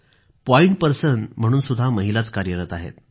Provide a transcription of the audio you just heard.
point person म्हणूनही महिलाच कार्यरत आहेत